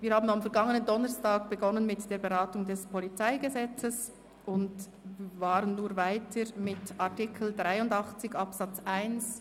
Wir haben am vergangenen Donnerstag mit der Beratung des Polizeigesetzes (PolG) begonnen und fahren nun weiter mit Artikel 83 Absatz 1